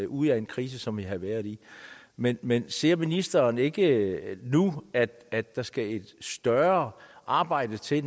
ud af en krise som vi havde været i men men ser ministeren ikke at at der skal et større arbejde til